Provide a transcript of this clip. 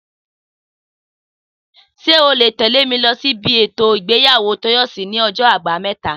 Sé o ó lè tèlé mi lo sí ibi ètò ìgbéyàwó Tóyòsí ní ojó Àbáméta?